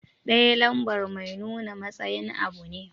"Ɗaya" lambar mai nuna matsayin abu ne.